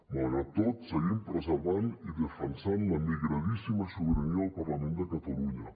malgrat tot seguim preservant i defensant la migradíssima sobirania del parlament de catalunya